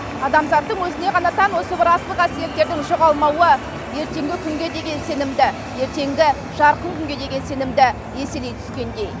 адамзаттың өзіне ғана тән осы бір асыл қасиеттердің жоғалмауы ертеңгі күнге деген сенімді ертеңгі жарқын күнге деген сенімді еселей түскендей